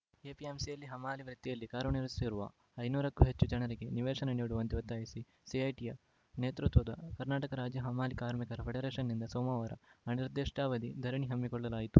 ಎಪಿಎಂಸಿಯಲ್ಲಿ ಹಮಾಲಿ ವೃತ್ತಿಯಲ್ಲಿ ಕಾರ್ಯನಿರ್ವಹಿಸುತ್ತಿರುವ ಐನೂರು ಕ್ಕೂ ಹೆಚ್ಚು ಜನರಿಗೆ ನಿವೇಶನ ನೀಡುವಂತೆ ಒತ್ತಾಯಿಸಿ ಸಿಐಟಿಯು ನೇತೃತ್ವದ ಕರ್ನಾಟಕ ರಾಜ್ಯ ಹಮಾಲಿ ಕಾರ್ಮಿಕರ ಫೆಡರೇಷನ್‌ನಿಂದ ಸೋಮವಾರ ಅನಿರ್ದಿಷ್ಟಾವಧಿ ಧರಣಿ ಹಮ್ಮಿಕೊಳ್ಳಲಾಯಿತು